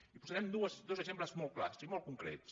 i posarem dos exemples molt clars i molt concrets